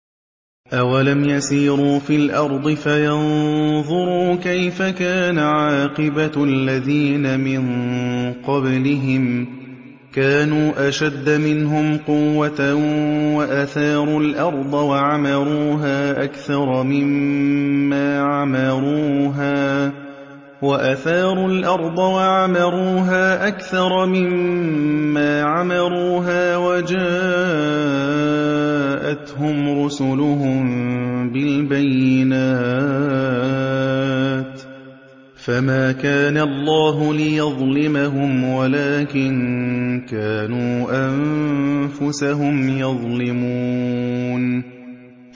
أَوَلَمْ يَسِيرُوا فِي الْأَرْضِ فَيَنظُرُوا كَيْفَ كَانَ عَاقِبَةُ الَّذِينَ مِن قَبْلِهِمْ ۚ كَانُوا أَشَدَّ مِنْهُمْ قُوَّةً وَأَثَارُوا الْأَرْضَ وَعَمَرُوهَا أَكْثَرَ مِمَّا عَمَرُوهَا وَجَاءَتْهُمْ رُسُلُهُم بِالْبَيِّنَاتِ ۖ فَمَا كَانَ اللَّهُ لِيَظْلِمَهُمْ وَلَٰكِن كَانُوا أَنفُسَهُمْ يَظْلِمُونَ